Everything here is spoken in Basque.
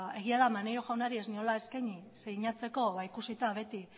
egia da maneiro jaunari ez niola eskaini sinatzeko ikusita beti